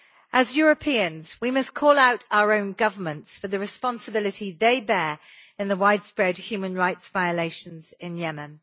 As Europeans we must call out our own governments for the responsibility they bear in the widespread human rights violations in Yemen.